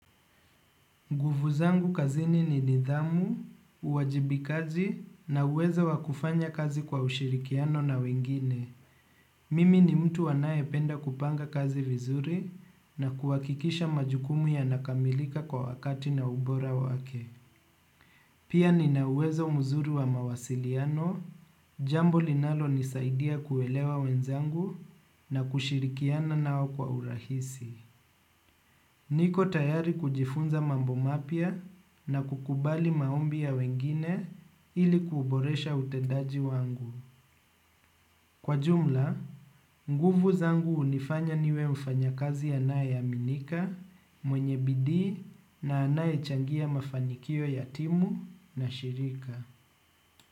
Guvu zangu kazini ni nidhamu, uwajibikaji na uweza wakufanya kazi kwa ushirikiano na wengine. Mimi ni mtu anae penda kupanga kazi vizuri na kuwakikisha majukumu ya nakamilika kwa wakati na ubora wake. Pia ni na uwezo mzuri wa mawasiliano, jambo linalo nisaidia kuelewa wenzangu na kushirikiana nao kwa urahisi. Niko tayari kujifunza mambo mapia na kukubali maombi ya wengine ili kuuboresha utedaji wangu. Kwa jumla, nguvu zangu unifanya niwe mfanya kazi anae aminika, mwenye bidii na anae changia mafanikio yatimu na shirika.